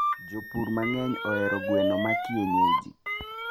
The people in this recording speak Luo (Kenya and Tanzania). jopur mangeny ohero gweno ma kienyeji